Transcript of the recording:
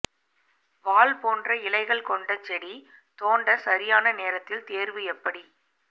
வாள் போன்ற இலைகள் கொண்ட செடி தோண்ட சரியான நேரத்தில் தேர்வு எப்படி